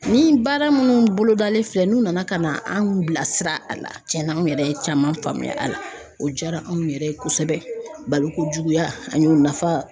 Ni baara minnu bolo dalen filɛ n'u nana ka na anw bilasira a la tiɲɛna an yɛrɛ ye caman faamuya a la o jaara anw yɛrɛ ye kosɛbɛ balokojuguya an y'o nafa